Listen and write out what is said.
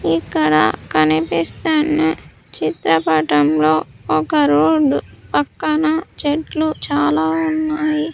ఇక్కడ కనిపిస్తున్ని చిత్రపటంలో ఒక రోడ్ పక్కన చెట్లు చాలా ఉన్నాయి.